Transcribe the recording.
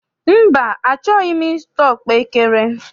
Mba, achọghị m I zụta ọkpaekere.